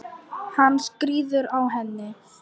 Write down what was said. Hann skríður á henni.